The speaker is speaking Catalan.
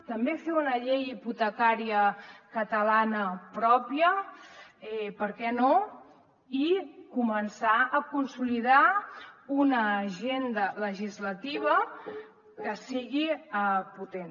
també fer una llei hipotecària catalana pròpia per què no i començar a consolidar una agenda legislativa que sigui potent